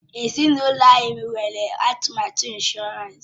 Ezinụlọ anyị nwere atụmatụ ịnshọransị.